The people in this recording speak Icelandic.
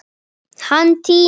Hann týnist.